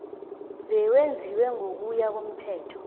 bewenziwe ngokuya komthetho